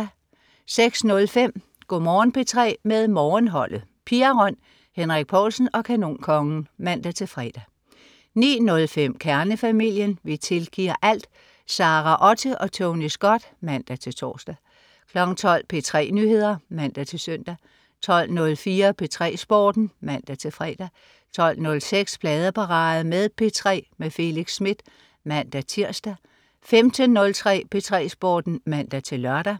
06.05 Go' Morgen P3 med Morgenholdet. Pia Røn, Henrik Povlsen og Kanonkongen (man-fre) 09.05 Kernefamilien. Vi tilgiver alt! Sara Otte og Tony Scott (man-tors) 12.00 P3 Nyheder (man-søn) 12.04 P3 Sporten (man-fre) 12.06 Pladeparade på P3 med Felix Smith (man-tirs) 15.03 P3 Sporten (man-lør)